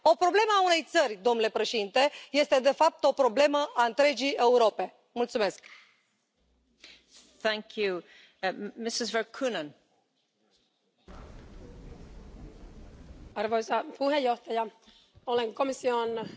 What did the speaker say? Doamna președintă, domnule comisar, vreau și eu să apreciez prezentarea făcută de domnul președinte Juncker. Este una de care avem nevoie unitate, prosperitate.